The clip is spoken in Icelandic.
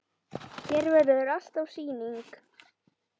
Hér verður alltaf sýning.